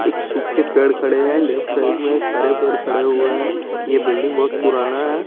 एक सूखे पेड़ खड़े है लेफ्ट साइड में एक हरे पेड़ खड़े है यह बिल्डिंग बोहोत पुराण है ।